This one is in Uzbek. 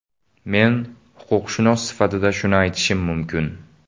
Men huquqshunos sifatida shuni aytishim mumkin.